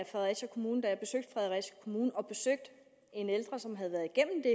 fredericia kommune og besøgte en ældre som havde været igennem det